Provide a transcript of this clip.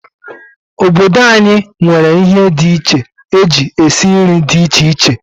Obodo anyi nwere ihe di iche eji esi nri di iche iche.